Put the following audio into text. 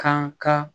Kan ka